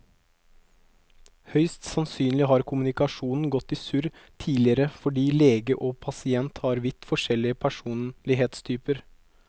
Høyst sannsynlig har kommunikasjonen gått i surr tidligere fordi lege og pasient har vidt forskjellig personlighetstyper.